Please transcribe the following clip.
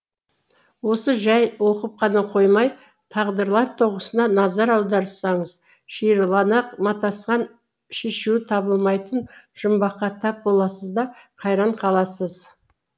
осы жәй оқып қана қоймай тағдырлар тоғысына назар аударсаңыз шиырлана матасқан шешуі табылмайтын жұмбаққа тап боласыз да қайран қаласыз